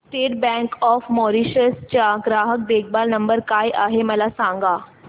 state Bank of Mauritius चा ग्राहक देखभाल नंबर काय आहे मला सांगा